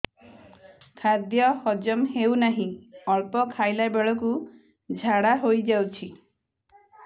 ଖାଦ୍ୟ ହଜମ ହେଉ ନାହିଁ ଅଳ୍ପ ଖାଇଲା ବେଳକୁ ଝାଡ଼ା ହୋଇଯାଉଛି